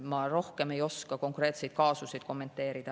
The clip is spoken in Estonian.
Ma rohkem ei oska konkreetseid kaasuseid kommenteerida.